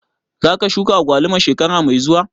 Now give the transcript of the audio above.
Za ka shuka agwaluma shekara mai zuwa?